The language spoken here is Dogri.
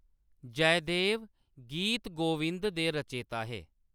जयदेव गीत गोविंद दे रचेता हे।